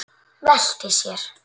Veltir sér.